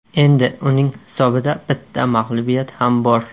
Endi uning hisobida bitta mag‘lubiyat ham bor.